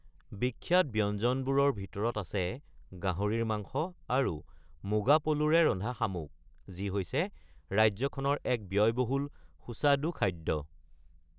বিখ্যাত ব্যঞ্জনবোৰৰ ভিতৰত আছে গাহৰিৰ মাংস আৰু মুগা পলুৰে ৰন্ধা শামুক, যি হৈছে ৰাজ্যখনৰ এক ব্যয়বহুল সুস্বাদু খাদ্য।